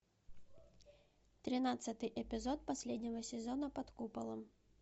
тринадцатый эпизод последнего сезона под куполом